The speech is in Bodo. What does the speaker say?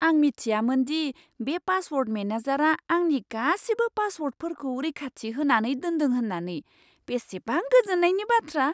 आं मिथियामोन दि बे पासवर्ड मेनेजारआ आंनि गासिबो पासवर्डफोरखौ रैखाथि होनानै दोनदों होन्नानै। बेसेबां गोजोननायनि बाथ्रा!